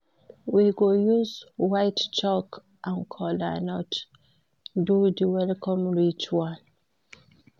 We go use white chalk and kola nut do di welcome ritual.